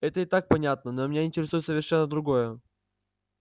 это и так понятно но меня интересует совершенно другое